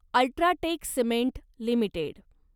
UltraTech cement limited